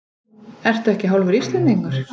Ertu ekki hálfur Íslendingur?